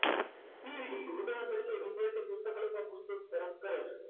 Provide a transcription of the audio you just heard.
કેવી રીતે ઉદાહરણ તરીકે વિદ્યાર્થી પુસ્તકાલયમાં પુસ્તક પરત કરે છે